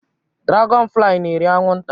Dragọn fli n'eri anwụ nta